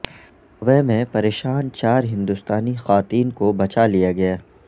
Dubai میں پریشان چار ہندوستانی خواتین کو بچا لیا گیا